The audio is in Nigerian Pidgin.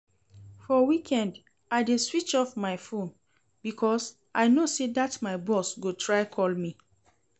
For weekend I dey switch off my phone because I know say dat my boss go try call me